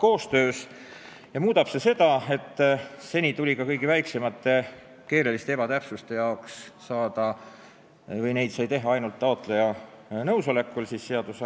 See muudab seda osa, et seni sai ka kõige väiksemaid keelelisi ebatäpsusi parandada ainult seadusandliku akti andja nõusolekul või taotlusel.